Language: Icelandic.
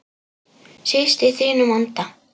Síst í þínum anda.